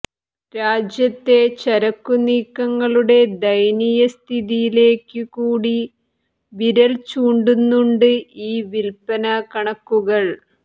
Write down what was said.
രാജ്യത്തെ ചരക്കുനീക്കങ്ങളുടെ ദയനീയസ്ഥിതിയിലേക്കു കൂടി വിരൽചൂണ്ടുന്നുണ്ട് ഈ വില്പ്പനാ കണക്കുകൾ